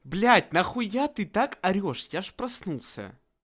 блять нахуя ты так орешь я аж проснулся